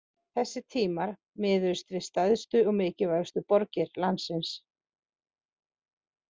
Þessir tímar miðuðust við stærstu og mikilvægustu borgir landsins.